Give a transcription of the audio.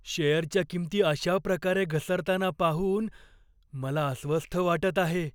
शेअरच्या किमती अशा प्रकारे घसरताना पाहून मला अस्वस्थ वाटत आहे.